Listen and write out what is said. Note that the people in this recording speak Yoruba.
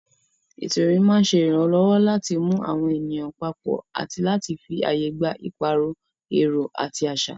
Ètò ìrìn máa ń ṣe ìrànlọ́wọ́ láti mú àwọn ènìyàn papọ̀ àti láti fi ààyè gba ìpààrọ̀ èrò àti àṣà.